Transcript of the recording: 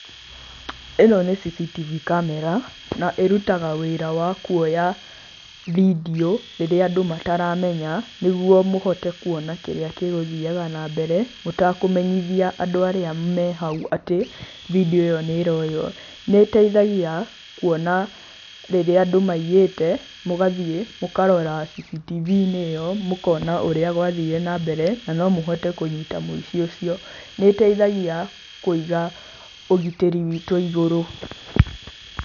Ĩno nĩ CCTV camera na ĩrutaga wĩra wa kuoya video rĩrĩa andũ mataramenya, nĩguo mũhote kuona kĩrĩa gĩgũthiaga na mbere, mũtekũmenyithia andũ arĩa me hau atĩ video ĩyo nĩ ĩroywo. Nĩ ĩtaithagia kuona rĩrĩa andũ maiyĩte, mũgathiĩ, mũkarora CCTV-inĩ ĩyo, mũkona ũrĩa gwathire nambere, na nomũhote kũnyita mũici ũcio. Nĩ ĩtaithagia kũiga ũgitĩri witũ igũrũ.